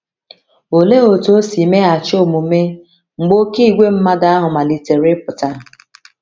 Olee otú o si meghachi omume mgbe oké ìgwè mmadụ ahụ malitere ịpụta?